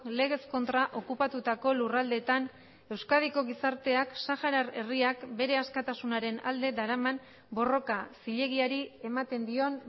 legez kontra okupatutako lurraldeetan euskadiko gizarteak saharar herriak bere askatasunaren alde daraman borroka zilegiari ematen dion